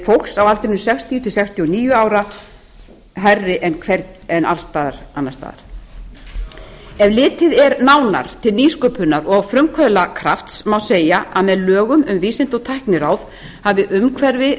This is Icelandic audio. fólks á aldrinum sextíu sextíu og níu ára hærri en alls staðar annars staðar ef litið er nánar til nýsköpunar og frumkvöðlakrafts má segja að með lögum um vísinda og tækniráð hafi umhverfi